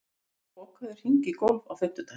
Amor, bókaðu hring í golf á fimmtudaginn.